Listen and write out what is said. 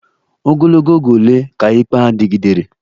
Ogologo oge ole ka ikpe a dịgidere?